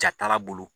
Jatala bolo